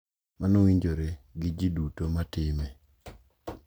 Mano winjore gi ji duto ma time .